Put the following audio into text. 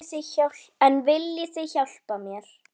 En viljið þið hjálpa mér?